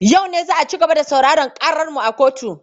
Yau ne za a ci gaba da sauraren ƙarar mu a kotu.